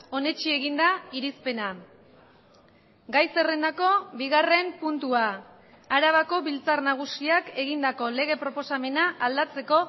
onetsi egin da irizpena gai zerrendako bigarren puntua arabako biltzar nagusiak egindako lege proposamena aldatzeko